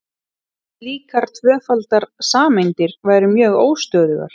slíkar tvöfaldar sameindir væru mjög óstöðugar